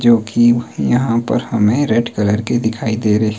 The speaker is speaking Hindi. जो की यहाँ पर हमें रेड कलर के दिखाई दे रहें--